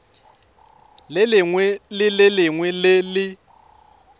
lengwe le lengwe le le